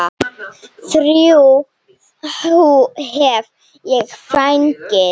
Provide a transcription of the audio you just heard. Þrjú hef ég fengið.